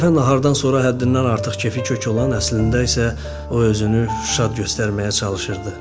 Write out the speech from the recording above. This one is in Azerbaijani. Bir dəfə nahardan sonra həddindən artıq kefi kök olan, əslində isə o özünü şad göstərməyə çalışırdı.